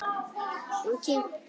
Og kyngt.